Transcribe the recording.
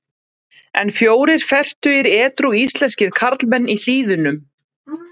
En fjórir fertugir edrú íslenskir karlmenn í Hlíðunum.